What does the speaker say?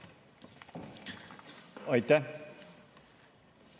Aitäh!